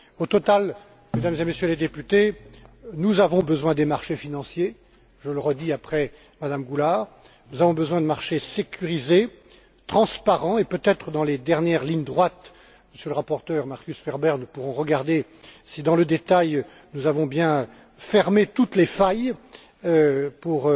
Au total, Mesdames et Messieurs les députés, nous avons besoin des marchés financiers je le redis après Mme Goulard nous avons besoin de marchés sécurisés, transparents et peut être dans les dernières lignes droites, Monsieur le rapporteur Markus Ferber, nous pourrons regarder si, dans le détail, nous avons bien fermé toutes les failles